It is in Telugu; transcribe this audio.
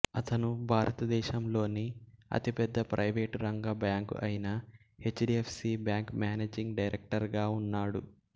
అతను భారతదేశంలోని అతిపెద్ద ప్రైవేట్ రంగ బ్యాంకు అయిన H D F C bank managing director గా ఉన్నాడు